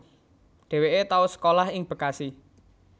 Dhéwéké tau sekolah ing Bekasi